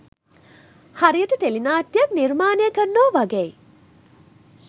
හරියට ටෙලි නාට්‍යයක් නිර්මාණය කරනවා වගෙයි